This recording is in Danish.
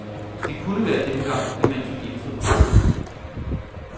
Det kunne være denne gang, at man fik indfriet restgælden.